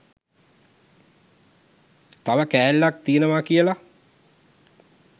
තව කෑල්ලක් තියෙනවා කියල